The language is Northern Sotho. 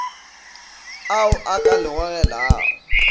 ao a ka le gogelago